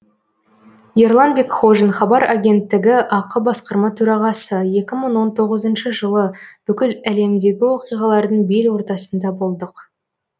ерлан бекхожин хабар агенттігі акционерлік қоғамының басқарма төрағасы екі мың он тоғызыншы жылы бүкіл әлемдегі оқиғалардың бел ортасында болдық